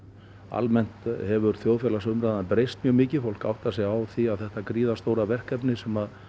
almennt hefur þjóðfélagsumræðan breyst mjög mikið fólk áttar sig á því að þetta gríðarstóra verkefni sem